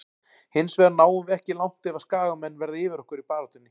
Hinsvegar náum við ekki langt ef að skagamenn verða yfir okkur í baráttunni.